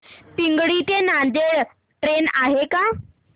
पिंगळी ते नांदेड ट्रेन आहे का